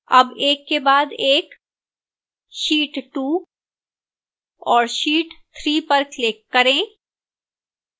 tab एक के बाद एक sheet 2 और sheet 3 पर click करें